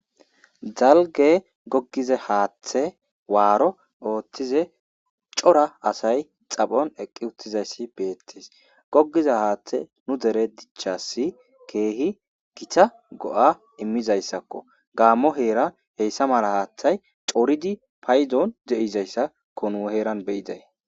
dalge gogiza haaththe waaro ooththize cora asay xaphon eqqi uttizayssi beettes goggiza haaththe nu dere dichasi keehi gita go7a immizayssakko gaammo heera heyssa mala haaththay coridi paydon de7izayssa ko nu heeran beyiday